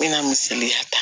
N bɛna misali ta